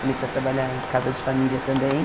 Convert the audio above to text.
Comecei a trabalhar em casa de família também.